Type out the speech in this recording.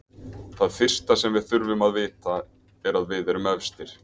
Það fyrsta sem við þurfum að vita er að við erum efstir.